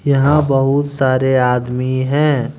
यहां बहुत सारे आदमी है।